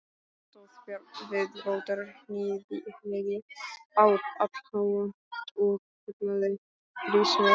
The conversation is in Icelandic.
Stóð Björn við rótarhnyðju allháa og kurlaði hrís með sleddu.